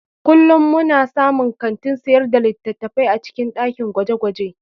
Kullum muna samun kantin sayar da littattafai a cikin dakin gwaje-gwaje.